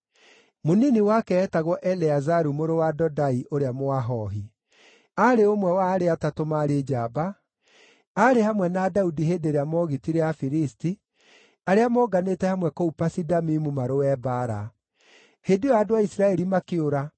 Mũnini wake eetagwo Eleazaru mũrũ wa Dodai, ũrĩa Mũahohi. Arĩ ũmwe wa arĩa atatũ maarĩ njamba, aarĩ hamwe na Daudi hĩndĩ ĩrĩa moogitire Afilisti arĩa monganĩte hamwe kũu Pasi-Damimu marũe mbaara. Hĩndĩ ĩyo andũ a Isiraeli makĩũra,